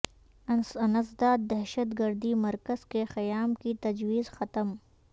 انسداد دہشت گردی مرکز کے قیام کی تجویز ختم